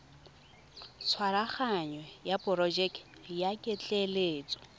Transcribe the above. tshwaraganyo ya porojeke ya ketleetso